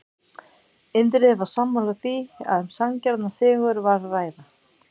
Indriði var sammála því að um sanngjarnan sigur var að ræða.